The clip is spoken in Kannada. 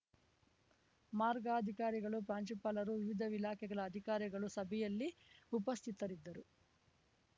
ಮಾರ್ಗಾಧಿಕಾರಿಗಳು ಪ್ರಾಂಶುಪಾಲರು ವಿವಿಧ ಇಲಾಖೆಗಳ ಅಧಿಕಾರಿಗಳು ಸಭೆಯಲ್ಲಿ ಉಪಸ್ಥಿತರಿದ್ದರು